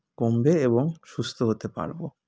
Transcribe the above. কমবে এবং সুস্থ্য হতে পারবো